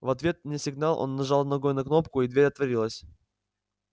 в ответ на сигнал он нажал ногой на кнопку и дверь отворилась